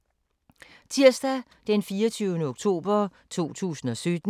Tirsdag d. 24. oktober 2017